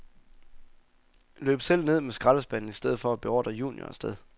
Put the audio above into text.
Løb selv ned med skraldespanden i stedet for at beordre junior af sted.